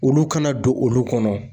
Olu kana don olu kɔnɔ